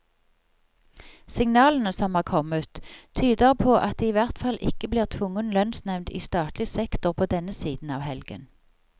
Signalene som er kommet, tyder på at det i hvert fall ikke blir tvungen lønnsnevnd i statlig sektor på denne siden av helgen.